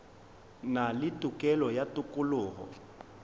na le tokelo ya tokologo